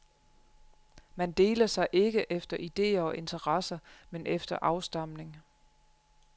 Man deler sig ikke efter ideer og interesser, men efter afstamning.